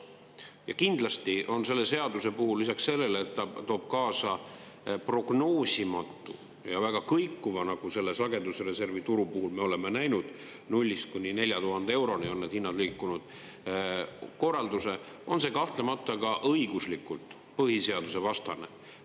Ja kindlasti on selle seaduse puhul lisaks sellele, et ta toob kaasa prognoosimatu ja väga kõikuva, nagu selle sagedusreservituru puhul me oleme näinud, nullist kuni 4000 euroni on need hinnad liikunud, korralduse, on see kahtlemata ka õiguslikult põhiseaduse vastane.